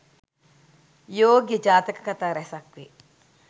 යෝග්‍ය ජාතක කථා රැසක් වේ.